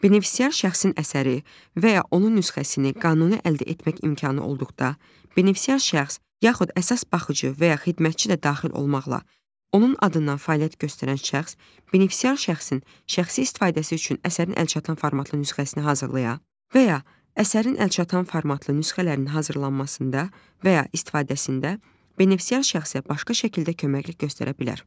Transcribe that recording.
Benefisiar şəxsin əsəri və ya onun nüsxəsini qanuni əldə etmək imkanı olduqda, benefisiar şəxs, yaxud əsas baxıcı və ya xidmətçi də daxil olmaqla, onun adından fəaliyyət göstərən şəxs, benefisiar şəxsin şəxsi istifadəsi üçün əsərin əlçatan formatlı nüsxəsini hazırlaya və ya əsərin əlçatan formatlı nüsxələrinin hazırlanmasında və ya istifadəsində benefisiar şəxsə başqa şəkildə köməklik göstərə bilər.